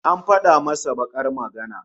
An fada masa bakar magana